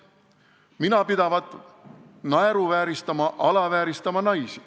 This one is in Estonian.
Mina pidavat naeruvääristama, alavääristama naisi.